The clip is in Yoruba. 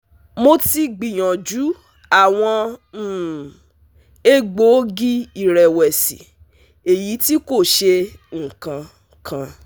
Mo ti gbiyanju awọn um egboogi-irẹwẹsi, eyiti ko ṣe nkan kan